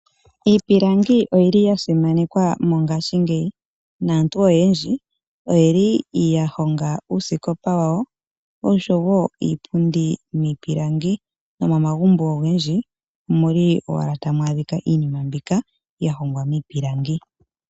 Iipilangi oyili yasimanekwa mongashingeyi. Naantu oyendji oyeli yahonga uusikopa wa wo oshowo iipundi miipilangi. Nomo magumbo ogendji omuli owala tamu adhika iinima mbika yahongwa miipilangi.